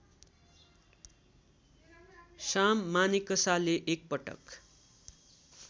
साम मानेकसाले एकपटक